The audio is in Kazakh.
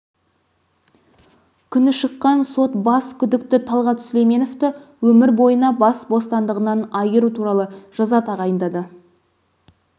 күні шыққан сот бас күдікті талғат сүлейменовті өмір бойына бас бостандығынан айыру туралы жаза тағайындады